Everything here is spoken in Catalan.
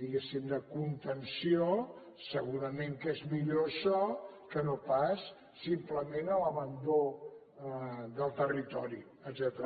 diguéssim de contenció segurament que és millor això que no pas simplement l’abandó del territori etcètera